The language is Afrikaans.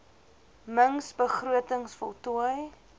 mings begrotings voltooi